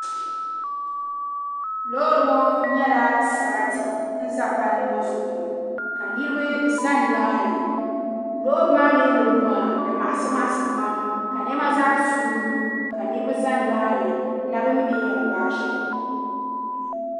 Loori ŋɔ nyɛla sarati ka ʒɛ palli ŋɔ zuɣu ŋɔ ka niraba ʒɛ nimaani loori maa mii ni lu maa di maɣasi maɣasi pam ka niɛma zaa suu lu ka niraba ʒɛ nimaani n na bi mi bi ni yɛn gbaai shɛm